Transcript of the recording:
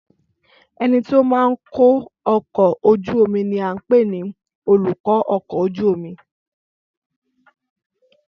Ẹnití ó máa ń kó ọkọ̀ ojú omi ni a ń pè ní olùkọ́-ọkọ̀-ojú-omi